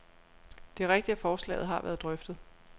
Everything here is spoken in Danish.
Det er rigtigt, at forslaget har været drøftet.